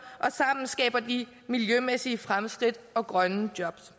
og sammen skaber de miljømæssige fremskridt og grønne jobs